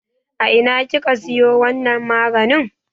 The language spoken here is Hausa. A ina kika siyo wannan maganin?